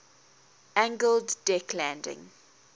angled deck landing